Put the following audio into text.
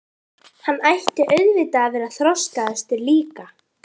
Hann ætti auðvitað að vera þroskaðastur líka.